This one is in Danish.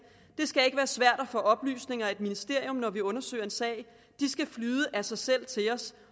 det skal ikke være svært at få oplysninger af et ministerium når vi undersøger en sag de skal flyde af sig selv til os